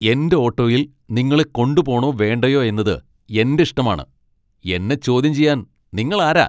എന്റെ ഓട്ടോയിൽ നിങ്ങളെ കൊണ്ടുപോണോ വേണ്ടയോ എന്നത് എന്റെ ഇഷ്ടമാണ് . എന്നെ ചോദ്യം ചെയ്യാൻ നിങ്ങൾ ആരാ ?